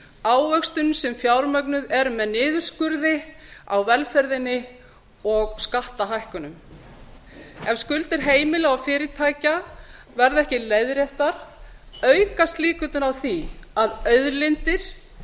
ávöxtun sem fjármögnuð er með niðurskurði á velferðinni og skattahækkunum ef skuldir heimila og fyrirtækja verða ekki leiðréttar aukast líkurnar á því að auðlindir